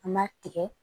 An b'a tigɛ